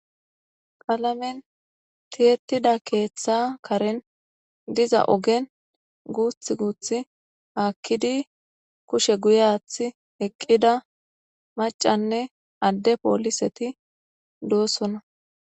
Qalamen tiyetida keetha Karen guuthi guuthi haki eqid kushe guye athi oykida macanne Ade poliset dosona.